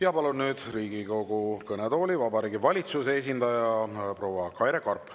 Ja palun nüüd Riigikogu kõnetooli Vabariigi Valitsuse esindaja proua Kaire Karbi.